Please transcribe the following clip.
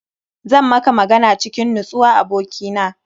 Zan maka magana cikin nutsuwa abokina.